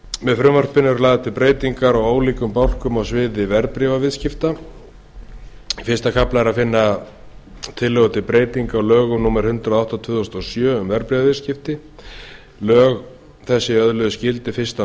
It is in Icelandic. með frumvarpi þessu eru lagðar til breytingar á ólíkum lagabálkum á sviði verðbréfaviðskipta í fyrsta kafla frumvarpsins er að finna tillögur til breytinga á lögum númer hundrað og átta tvö þúsund og sjö um verðbréfaviðskipti lög þessi öðluðust gildi fyrsta